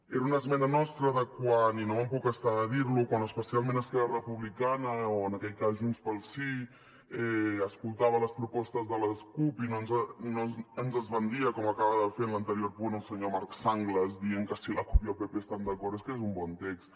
era una esmena nostra de quan i no me’n puc estar de dir ho especialment esquerra republicana o en aquell cas junts pel sí escoltava les propostes de les cup i no ens esbandia com acaba de fer en l’anterior punt el senyor marc sanglas dient que si la cup i el pp hi estan d’acord és que és un bon text